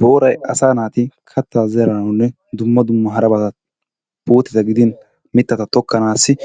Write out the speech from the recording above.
Booray asaa naati kattaa zeranawunne dumma dumma harabaa puuteta gidin mittata tokkanaassi